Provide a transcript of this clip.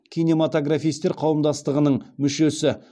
кинематографистер қауымдастығының мүшесі